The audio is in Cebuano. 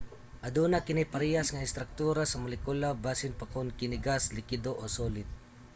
aduna kini parehas nga istraktura sa molekula bisan pa kon kini gas likido o solid